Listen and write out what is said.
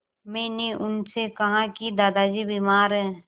मैंने उनसे कहा कि दादाजी बीमार हैं